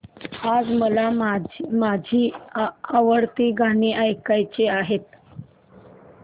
आज मला माझी आवडती गाणी ऐकायची आहेत